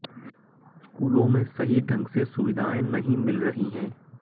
स्कूलों में सही ढंग से सुविधाएं नहीं मिल रही हैं